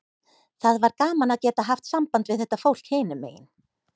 Það var gaman að geta haft samband við þetta fólk hinum megin.